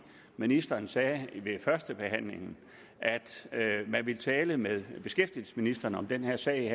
ministeren sagde ved førstebehandlingen at man ville tale med beskæftigelsesministeren om den her sag